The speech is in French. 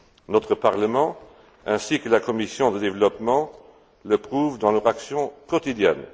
Notre Parlement ainsi que la commission du développement le prouvent dans leur action quotidienne.